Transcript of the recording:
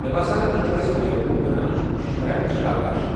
مےٚ باسان تُہۍ چھوٕ اسہِ بیوقوٗف بناونٕچ کوٗشش کران مِسٹر آکاش ۔